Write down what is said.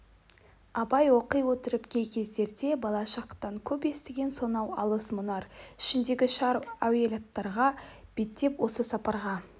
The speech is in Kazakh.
абай оқи отырып кей кездерде бала шақтан көп естігені сонау алыс мұнар ішіндегі шар уәлаяттарға беттеп осы сапарға